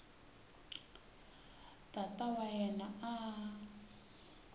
tata wa yena a a